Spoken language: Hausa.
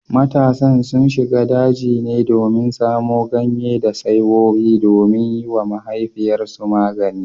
Matasan sun shiga daji ne domin samo ganye da saiwoyi domin yiwa mahaifiyarsu magani